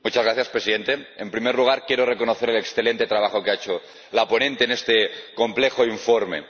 Señor Presidente, en primer lugar quiero reconocer el excelente trabajo que ha hecho la ponente en este complejo informe.